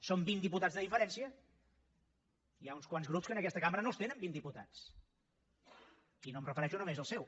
són vint diputats de diferència hi ha uns quants grups que en aquesta cambra no els tenen vint diputats i no em refereixo només al seu